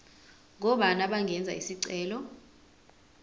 ngobani abangenza isicelo